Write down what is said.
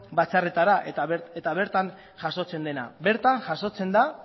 batzarretara eta bertan jasotzen dena bertan jasotzen da